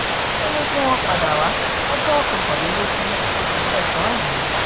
ó ní kí wọ́n padà wá lọ́jọ́ kọkànlélógún oṣù kẹsàn-án yìí